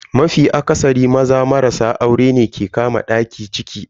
Mafi akasari, Maza marasa aurene ke kama daki ciki daya.